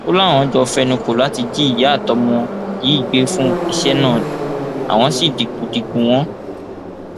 ó láwọn jọ fẹnukọ láti jí ìyá àtọmọ yìí gbé fún iṣẹ náà àwọn sì dìgbù dìgbù wọn